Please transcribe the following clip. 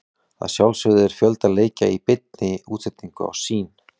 Að sjálfsögðu er fjölda leikja í beinni útsendingu á Sýn.